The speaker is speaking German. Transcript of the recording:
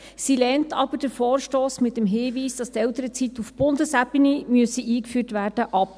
Sie lehnt aber den Vorstoss mit dem Hinweis ab, dass die Elternzeit auf Bundesebene eingeführt werden müsse.